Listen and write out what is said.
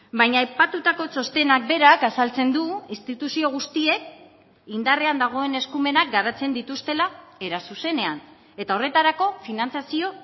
baina aipatutako txostenak berak azaltzen du instituzio guztiek indarrean dagoen eskumenak garatzen dituztela era zuzenean eta horretarako finantzazio